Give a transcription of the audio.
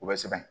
U bɛ sɛbɛn